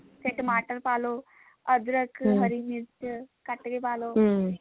ਫੇਰ ਟਮਾਟਰ ਪਾ ਲਓ ਅੱਦਰਕ ਹਰੀ ਮਿਰਚ ਕੱਟ ਕੇ ਪਾ ਲਓ